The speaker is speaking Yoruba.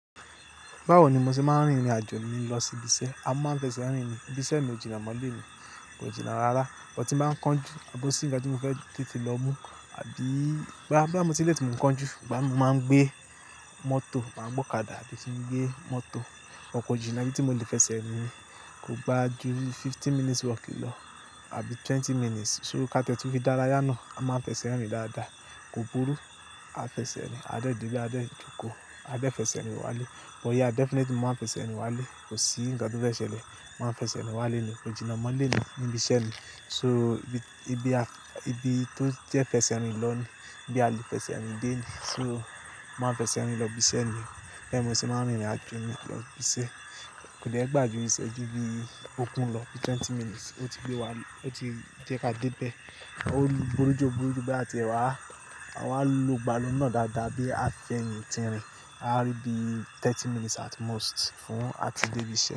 Báwo ni mo ṣe máa ń rìnrìn àjò mi lọ sí ibi iṣẹ́? A máa fẹ́ ṣe rìn ni ìbí iṣẹ́ mi òjìna mọ́lé mi, kò jìnnà rárá. But tí mo bá ń kánjú àbọ́ sí ìga tí mo fẹ́ tètè lọ mú àbí gbá, bá mo ti létì mò ń kánjú, gbá mo máa ń gbé mọ́tò, màá gbọ́ ọ̀kadà àbí kí n gbé mọ́tò. But kò jìnà ibí tí mo lè fẹsẹ̀ rìn kò gba jù fifteen minutes walk lọ àbí twenty minutes. So ká tẹ́tú fí dára yánà, a máa fẹsẹ̀ rìn dáadáa. Kò burú, a fẹsẹ̀ rìn. A dé dèbè, a dé jókòó, a dé fẹsẹ̀ rìn wálé. But yeah, i definitely máa fẹsẹ̀ rìn wálé. Kò sí ǹkan tó fẹ́ ṣẹlẹ̀, màá fẹsẹ̀ rìn wálé ni, kò jìnnà mọ́lé ni níbi iṣẹ́ mi. So ibi, ibi a, ibi tó jẹ́ fẹsẹ̀ rìn lọ ni, ibi a lè fẹsẹ̀ rìn dé ni. So máa fẹsẹ̀ rìn lọ ibi iṣẹ́ mi, bẹ́ẹ̀ mo sì máa ń rìnrìn àjò mi lọ ibi iṣẹ́. Kò dé gbà jù ìṣẹ́jú bí i ògun lọ bí twenty minutes ó ti gbé wá lé, ó ti jẹ́ ká dé bẹ́ẹ̀. A ó rí burú jù, burú jù pé a ti ẹ wá, a wá lo ìgbàlọ́nà dáadáa bí a fi ẹ̀yìn ti rìn. A á rí bí thirty minutes at most fún a ti dé ibi iṣẹ́.